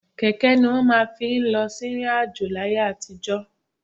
Kẹ̀kẹ́ ni wọ́n máa ń fi lọ sí ìrìn-àjò láyé àtijọ́.